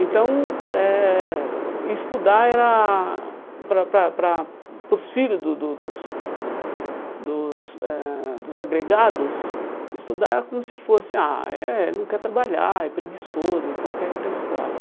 Então, eh estudar era para para para hum para os filhos do do dos dos eh dos agregados, estudar era como se fosse, ah, eh não quer trabalhar, é preguiçoso, então quer ir para a escola.